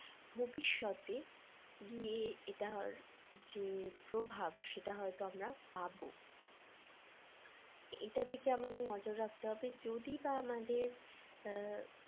ভবিষ্যতে গিয়ে এটার যে প্রভাব সেটা হয়তো আমরা পাব এটা থেকে আমাদের নজর রাখতে হবে যদি বা আমাদের